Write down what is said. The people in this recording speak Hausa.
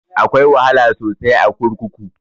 Akwai wahala sosai a kurkuku